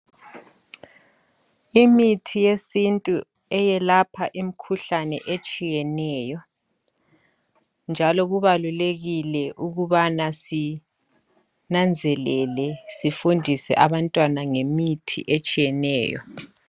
Imithi yesintu eyelapha imikhuhlane etshiyeneyo njalo kubalulekile ukubana sinanzelele sifundise abantwana ngemithi etshiyeneyo